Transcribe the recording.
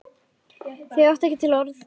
Þau áttu ekki til orð.